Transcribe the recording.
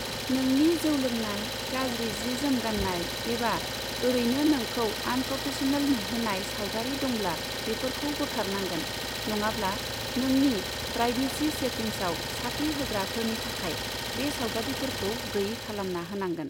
नोंनि जौ लोंनाय, गाज्रि जि जोम गान्नाय, एबा ओरैनो नोंखौ आनप्रफेशनेल नुहोनाय सावगारि दंब्ला बेफोरखौ बोखारनांंगोन, नङाब्ला नोंनि प्राइभेसि सेटिंग्साव साख्रि होग्राफोरनि थाखाय बे सावगारिफोरखौ गैयै खालामना होनांगोन।